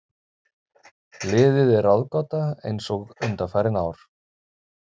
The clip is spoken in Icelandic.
Liðið er ráðgáta eins og undanfarin ár.